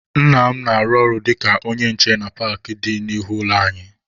Nna m na-arụ ọrụ dịka onye nche na paakị dị n'ihu ụlọ anyị.